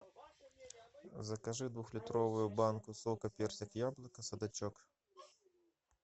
закажи двухлитровую банку сока персик яблоко садачок